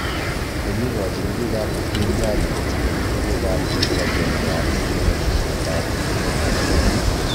Kongiyochin biik ab upinzani kochigil tuguuk ab kibang'eng'e ab lewenisiet ab emet ab Kenya.